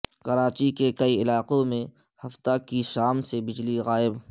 کراچی کے کئی علاقوں میں ہفتے کی شام سے بجلی غائب